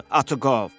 Atı qov!